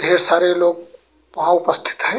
ढेर सारे लोग वहां उपस्थित है।